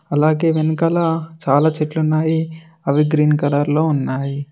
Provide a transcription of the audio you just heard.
అలాగే వెనకాల చాలా చెట్లు ఉన్నాయి అవి గ్రీన్ కలర్ లో ఉన్నాయి.